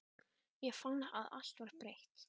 Ég fann að allt var breytt.